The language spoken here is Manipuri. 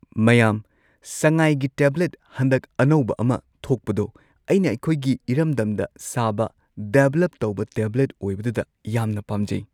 ꯃꯌꯥꯝ ꯁꯉꯥꯏꯒꯤ ꯇꯦꯕ꯭ꯂꯦꯠ ꯍꯟꯗꯛ ꯑꯅꯧꯕ ꯑꯃ ꯊꯣꯛꯄꯗꯣ ꯑꯩꯅ ꯑꯩꯈꯣꯏꯒꯤ ꯏꯔꯝꯗꯝꯗ ꯁꯥꯕ ꯗꯦꯕ꯭ꯂꯞ ꯇꯧꯕ ꯇꯦꯕ꯭ꯂꯦꯠ ꯑꯣꯏꯕꯗꯨꯗ ꯌꯥꯝꯅ ꯄꯥꯝꯖꯩ꯫